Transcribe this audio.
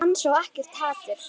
Ég er ekkert feimin.